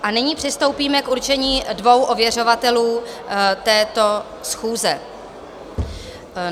A nyní přistoupíme k určení dvou ověřovatelů této schůze.